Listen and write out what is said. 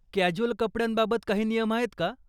Casual कपड्यांबाबत काही नियम आहेत का ?